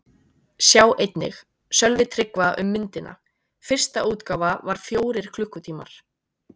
Sjá einnig: Sölvi Tryggva um myndina: Fyrsta útgáfa var fjórir klukkutímar